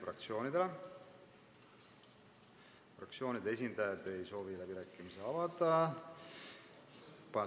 Fraktsioonide esindajad ei soovi läbirääkimisi pidada.